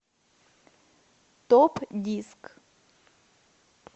топ диск